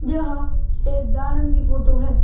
यह एक गार्डन की फोटो है।